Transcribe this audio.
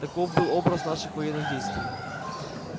таков был образ наших военных действий